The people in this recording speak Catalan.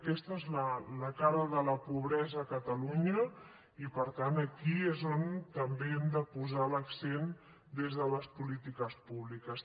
aquesta és la cara de la pobresa a catalunya i per tant aquí és on també hem de posar l’accent des de les polítiques públiques